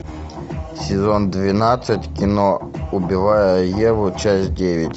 сезон двенадцать кино убивая еву часть девять